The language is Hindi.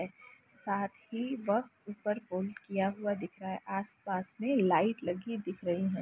हैं साथ ही वह ऊपर होल्ड किया हुआ दिख रहा है आस-पास में लाइट लगी दिख रही है।